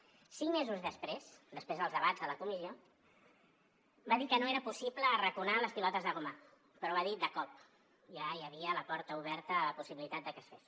cinc mesos després després dels debats de la comissió va dir que no era possible arraconar les pilotes de goma però va dir de cop ja hi havia la porta oberta a la possibilitat de que es fes